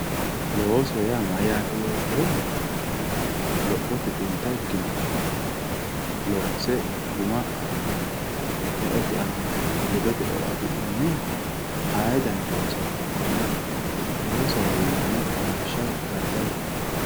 Looso yaa mayate yoottohura, lophote xinta ikkinoha loonse guma affi'ne eote aana ledote eo affi'nanniha aaye danni loosono hakkone loosohowe yinnanni lawishshaho daddalu.